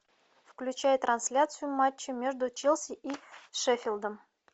включай трансляцию матча между челси и шеффилдом